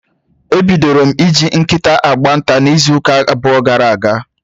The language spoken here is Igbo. E bidoro m ị ji nkịta agba nta n'izuuka abụọ gara aga.